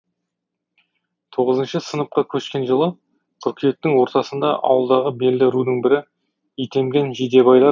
тоғызыншы сыныпқа көшкен жылы қыркүйектің ортасында ауылдағы белді рудың бірі итемген жидебайлар